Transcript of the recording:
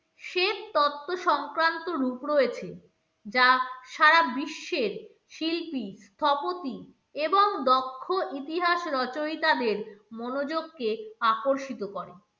তত্ত্ব সংক্রান্ত রূপ রয়েছে যা সারা বিশ্বের শিল্পী, স্থপতি এবং দক্ষ ইতিহাস রচয়িতাদের মনোযোগকে আকর্ষিত করে।